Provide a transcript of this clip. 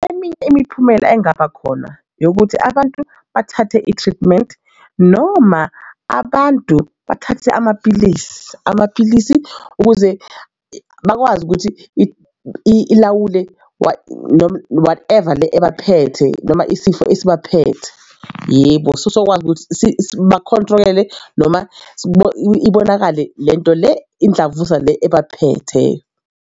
Eminye imiphumela engaba khona yokuthi abantu bathathe i-treatment noma abantu bathathe amapilisi amapilisi ukuze bakwazi ukuthi ilawule whatever le ebaphethe noma isifo esibaphethe. Yebo, sokwazi ukuthi bakhontrole noma ibonakale le nto le imdlavuza le ebaphethe.